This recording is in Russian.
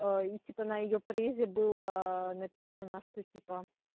и типа на её презе было написано что типа